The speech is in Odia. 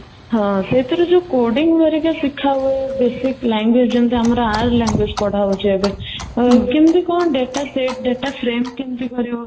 ହଁ, ସେଥିରେ ଯୋଉ codding ହେରିକା ଶିଖା ହୁଏ basic language ଯେମିତି ଆମର r language ପଢା ହଉଚି ଏବେ ତ କିନ୍ତୁ କ'ଣ data set data କରିବା?